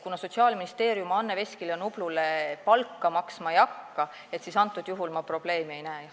Kuna Sotsiaalministeerium Anne Veskile ja Nublule palka maksma ei hakka, siis ma probleemi ei näe.